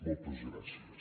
moltes gràcies